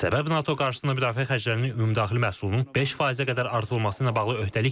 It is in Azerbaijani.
Səbəb NATO qarşısında müdafiə xərclərinin ümumdaxili məhsulun 5%-ə qədər artırılması ilə bağlı öhdəlikdir.